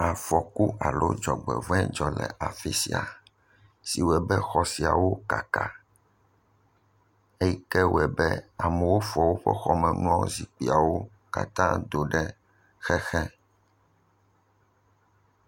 Afɔku alo dzɔgbevɔe dzɔ le afi sia. Si wɔe be xɔ siawo kaka. Eyi ke wɔe be amewo fɔ woƒe xɔmenuwo, zikpuiawo katã do ɖe xexe.